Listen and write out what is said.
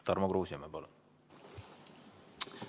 Tarmo Kruusimäe, palun!